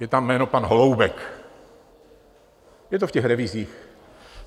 Je tam jméno pan Holoubek, je to v těch revizích.